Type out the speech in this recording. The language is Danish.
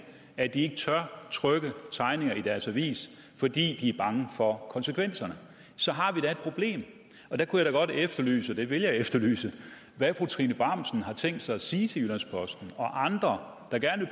at de ikke tør trykke tegninger i deres avis fordi de er bange for konsekvenserne så har vi da et problem og der kunne jeg godt efterlyse og det vil jeg efterlyse hvad fru trine bramsen har tænkt sig at sige til jyllands posten og andre der gerne